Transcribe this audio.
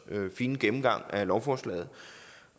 fine gennemgang af lovforslaget